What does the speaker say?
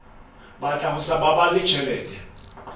batla ho sa baballe tjhelete